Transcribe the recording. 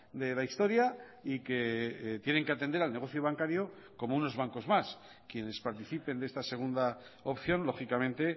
de la historia y que tienen que atender al negocio bancario como unos bancos más quienes participen de esta segunda opción lógicamente